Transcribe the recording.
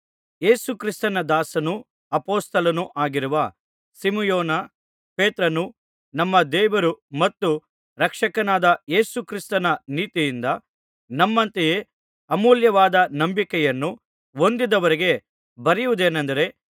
ಯೇಸು ಕ್ರಿಸ್ತನ ದಾಸನೂ ಅಪೊಸ್ತಲನೂ ಆಗಿರುವ ಸಿಮೆಯೋನ ಪೇತ್ರನು ನಮ್ಮ ದೇವರು ಮತ್ತು ರಕ್ಷಕನಾದ ಯೇಸು ಕ್ರಿಸ್ತನ ನೀತಿಯಿಂದ ನಮ್ಮಂತೆಯೇ ಅಮೂಲ್ಯವಾದ ನಂಬಿಕೆಯನ್ನು ಹೊಂದಿದವರಿಗೆ ಬರೆಯುವುದೇನಂದರೆ